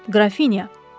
Qrafinya!